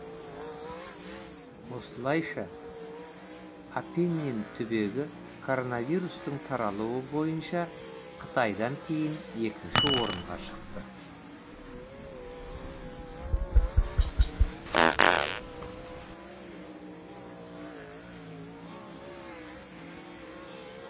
осылайша апеннин түбегі коронавирустың таралуы бойынша қытайдан кейін екінші орынға шықты